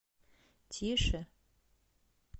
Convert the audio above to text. тише